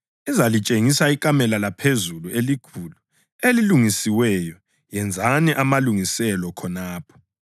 Izalitshengisa ikamelo laphezulu elikhulu, elilungisiweyo. Yenzani amalungiselo khonapho.”